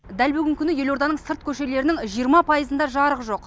дәл бүгінгі күні елорданың сырт көшелерінің жиырма пайызында жарық жоқ